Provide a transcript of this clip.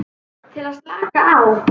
Til að slaka á.